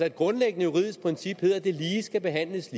et grundlæggende juridisk princip lyder at det lige skal behandles